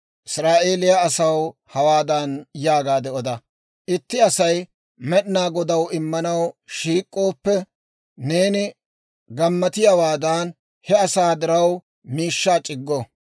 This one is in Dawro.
«Israa'eeliyaa asaw hawaadan yaagaade oda; ‹Itti Asay Med'inaa Godaw immanaw shiik'ooppe, neeni k'oppiyaawaadan he asaa diraw miishshaa c'iggo.